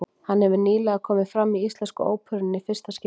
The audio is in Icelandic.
Hann hefur nýlega komið fram í Íslensku óperunni í fyrsta skipti.